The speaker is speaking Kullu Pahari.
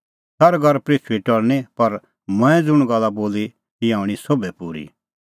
सरग और पृथूई टल़णीं पर मंऐं ज़ुंण गल्ला बोली ईंयां हणीं सोभ पूरी